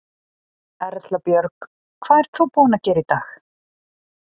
Erla Björg: Hvað ert þú búin að gera í dag?